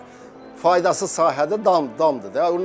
Mansart faydasız sahədə damdır, damdır da.